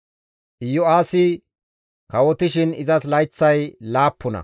Iyo7aasi kawotishin izas layththay laappuna.